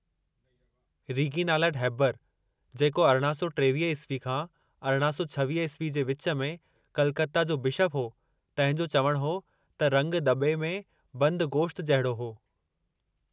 Reginald Heber, जेको 1823 ईस्वी खां 1826 ईस्वी जे विच में कलकता जो बिशप हो, तंहिं जो चवणु हो त रंगु दॿे में बंदि गोश्त जहिड़ो हो।